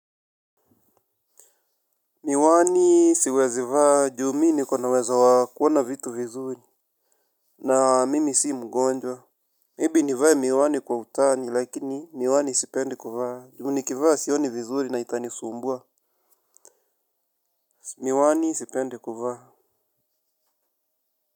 Miwani siwezivaa ju mimi niko na uwezo wa kuona vitu vizuri. Na mimi si mgonjwa Maybe nivae miwani kwa utani lakini miwani sipendi kuvaa ju nikivaa sioni vizuri na itani sumbua. Miwani sipendi kuvaa.